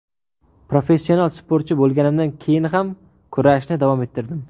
Professional sportchi bo‘lganimdan keyin ham kurashni davom ettirdim.